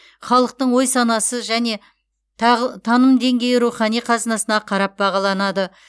халықтың ой санасы және таным деңгейі рухани қазынасына қарап бағаланады